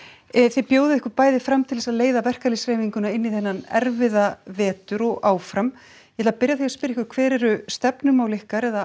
þið bjóðið ykkur bæði fram til þess að leiða verkalýðshreyfinguna inn í þennan erfiða vetur og áfram ég ætla að byrja á því að spyrja ykkur hver eru stefnumál ykkar eða